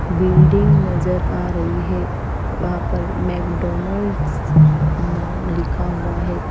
Building नजर आ रही है वहा पर मैकडॉनल्ड्स नाम लिखा हुआ है।